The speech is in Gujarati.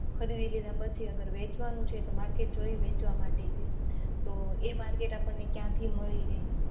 ખરીદી લીધા પછી વેચવાનું છે તો market જોયે વેચવામાટે આપણે એ market ક્યાં થી મળી રહે